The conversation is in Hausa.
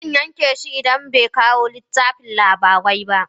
Zan yaƙe shi idan bai ba kawo littafin labari ba.